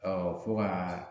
Ɔ fo gaa